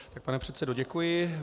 Pane předsedo, děkuji.